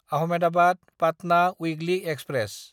आहमेदाबाद–पाटना weekly express